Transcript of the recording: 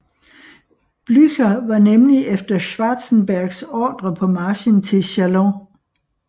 Blücher var nemlig efter Schwarzenbergs ordre på marchen til Châlons